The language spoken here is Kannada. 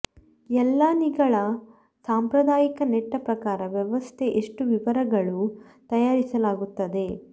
ಎಲ್ಲಾ ನಿಗಳ ಸಾಂಪ್ರದಾಯಿಕ ನೆಟ್ಟ ಪ್ರಕಾರ ವ್ಯವಸ್ಥೆ ಎಷ್ಟು ವಿವರಗಳು ತಯಾರಿಸಲಾಗುತ್ತದೆ